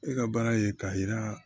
E ka baara ye k'a yira